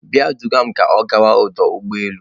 Bịa duga m ka ọ gawa n'ọdụ ụgbọ elu.